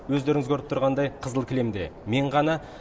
өздеріңіз көріп тұрғандай қызыл кілемде мен ғана